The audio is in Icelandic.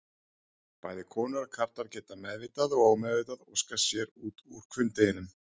Bæði konur og karlar geta meðvitað og ómeðvitað óskað sér út úr hvunndeginum.